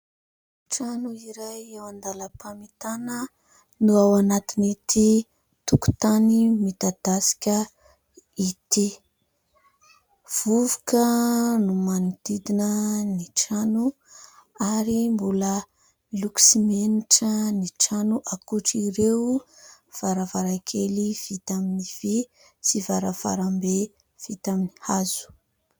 Trano iray eo an-dalam-pamitana no ao anatin'ity tokontany midadasika ity. Vovoka no manodidina ny trano, ary mbola miloko simenitra ny trano, ankoatr'ireo varavarankely vita amin'ny vy, sy varavarambe vita amin'ny hazo.